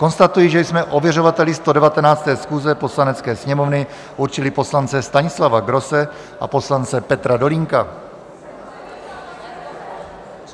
Konstatuji, že jsme ověřovateli 119. schůze Poslanecké sněmovny určili poslance Stanislava Grosse a poslance Petra Dolínka.